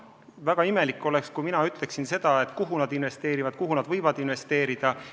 Väga imelik oleks, kui mina ütleksin, kuhu nad peavad investeerima või kuhu nad võivad investeerida.